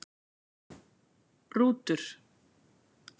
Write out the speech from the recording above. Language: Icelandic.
Rútur